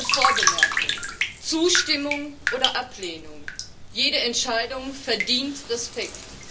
Eine Vorbemerkung Zustimmung oder Ablehnung, jede Entscheidung verdient Respekt.